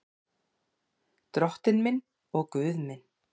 Drottinn minn og Guð minn.